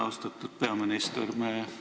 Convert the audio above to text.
Austatud peaminister!